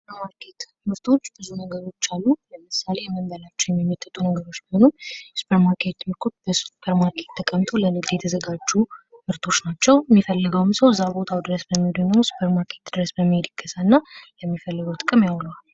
የሱፐር ማርኬት ምርቶች ብዙ ነገሮች አሉ ።ለምሳሌ የምንበላቸው የሚመጠጡ ነገሮች ቢሆኑ በሱፐርማርኬት ተቀምጠው ለንግድ የተዘጋጁ ምርቶች ናቸው። የሚፈልገውም ሰው እዛው ቦታው ድረስ በመሄድ ወይም ሱፐር ማርኬት በመሄድ ይገዛና የሚፈልገው ጥቅም ያውለዋል።